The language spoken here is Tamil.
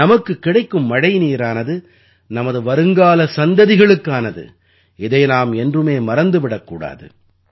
நமக்குக் கிடைக்கும் மழைநீரானது நமது வருங்கால சந்ததிகளுக்கானது இதை நாம் என்றுமே மறந்து விடக் கூடாது